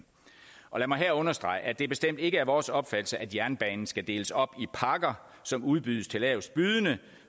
lad mig her understrege at det bestemt ikke er vores opfattelse at jernbanen skal deles op i pakker som udbydes til lavestbydende